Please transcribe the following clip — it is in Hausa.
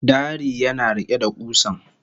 Dari yana riƙe da kusan